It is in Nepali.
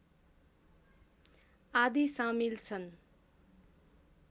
आदि सामिल छन्